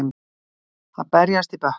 Að berjast í bökkum